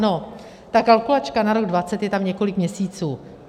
No, ta kalkulačka na rok 2020 je tam několik měsíců.